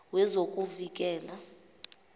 wezokuvikela